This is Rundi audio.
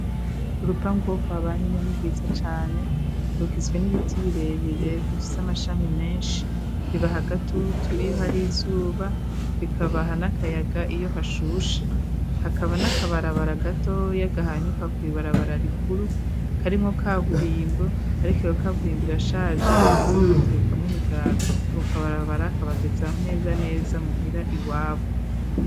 Urupanga uwo kwa banyinani bwiza cane rugizwe n'ibiti birebirebwa ifise amashami menshi bibaha gatutu iyo hari izuba bikabaha n'akayaga iyo hashusha hakaba n'akabarabara gatoya gahanyuka kw'ibarabara rikuru karimwo ka burimbo, ariko wo kaburimbo irashaje, maze kwaturukamwo imigaga bokabarabarakabageza neza neza muhira iwabo.